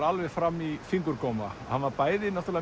alveg fram í fingurgóma hann var bæði